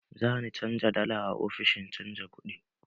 Za ni canja dala a ofishin canja kuɗi.